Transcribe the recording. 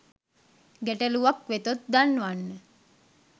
ගැටළුවක් වෙතොත් දන්වන්න